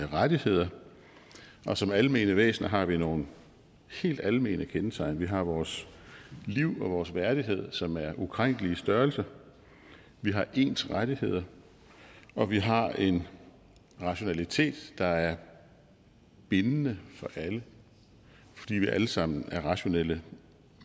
rettigheder og som almene væsener har vi nogle helt almene kendetegn vi har vores liv og vores værdighed som er ukrænkelige størrelser vi har ens rettigheder og vi har en rationalitet der er bindende for alle fordi vi alle sammen er rationale